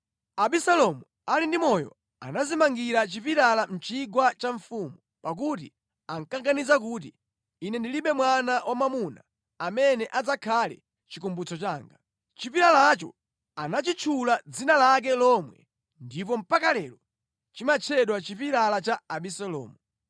Abisalomu ali ndi moyo anadzimangira chipilala mʼchigwa cha mfumu, pakuti ankaganiza kuti, “Ine ndilibe mwana wamwamuna amene adzakhale chikumbutso changa.” Chipilalacho anachitchula dzina lake lomwe ndipo mpaka lero chimatchedwa chipilala cha Abisalomu.